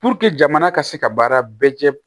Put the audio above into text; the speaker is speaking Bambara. jamana ka se ka baara bɛɛ kɛ